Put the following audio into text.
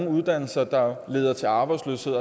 uddannelser der leder til arbejdsløshed